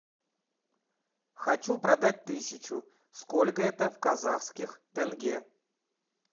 хочу продать тысячу сколько это в казахских тенге